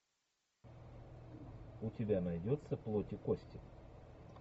у тебя найдется плоть и кости